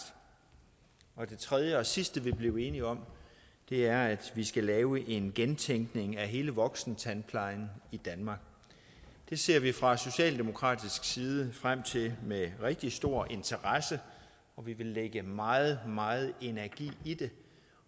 og det tredje og sidste vi blev enige om er at vi skal lave en gentænkning af hele voksentandplejen i danmark det ser vi fra socialdemokratisk side frem til med rigtig stor interesse og vi vil lægge meget meget energi i det